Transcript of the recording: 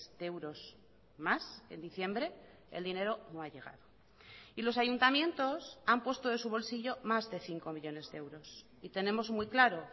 de euros más en diciembre el dinero no ha llegado y los ayuntamientos han puesto de su bolsillo más de cinco millónes de euros y tenemos muy claro